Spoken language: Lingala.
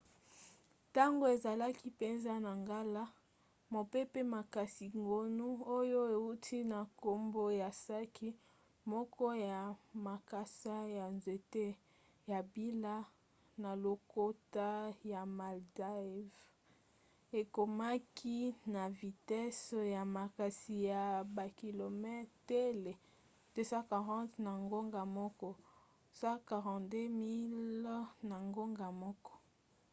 ntango ezalaki mpenza na ngala mopepe makasi gonu oyo euti na nkombo ya saki moko ya makasa ya nzete ya mbila na lokota ya maldives ekomaki na vitese ya makasi ya bakilometele 240 na ngonga moko 149 miles na ngonga moko